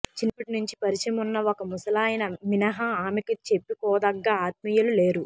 చిన్నప్పటినుంచీ పరిచయమున్న ఒక ముసలాయన మినహా ఆమెకి చెప్పుకోదగ్గ ఆత్మీయులు లేరు